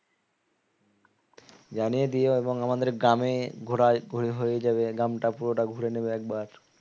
জানিয়ে দিও এবং আমাদের গ্রামে ঘোরা হয়ে যাবে গ্রামটা পুরোটা ঘুরে নেবে একবার